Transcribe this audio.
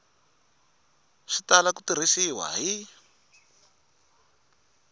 swi tala ku tirhisiwa hi